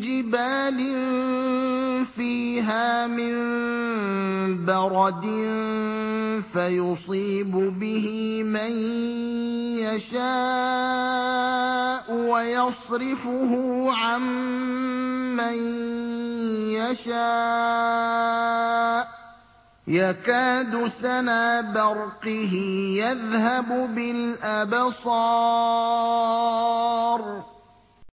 جِبَالٍ فِيهَا مِن بَرَدٍ فَيُصِيبُ بِهِ مَن يَشَاءُ وَيَصْرِفُهُ عَن مَّن يَشَاءُ ۖ يَكَادُ سَنَا بَرْقِهِ يَذْهَبُ بِالْأَبْصَارِ